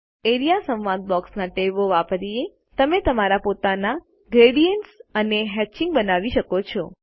A R E A સંવાદ બોક્સના ટેબો વાપરી તમે તમારા પોતાના ગ્રેડિએન્ટ્સ અને હેત્ચિંગ બનાવી શકો છો